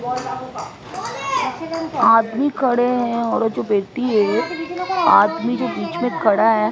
आदमी खड़े हैं और जो बेटी है आदमी जो बीच में खड़ा है।